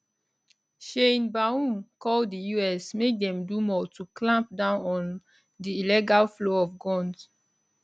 sheinbaum call di us make dem do more to clamp down on di illegal flow of guns